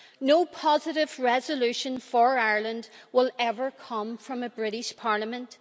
No positive resolution for Ireland will ever come from a British parliament.